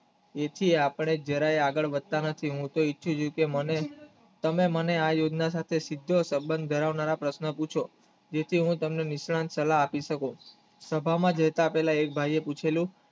એથી આપણે જરાય આગળ વધતા નથી હું તો ઇચ્છુ છું જે મહેલ તમે મને આ યોજના સાથે સબંધ જણાવનારો પ્રશ્ન પૂછો જેથી અમે તમને નિશાન સલાહ આપી શકીયે સભા માં જતા પહેલા એક ભાઈ એ પૂછેલું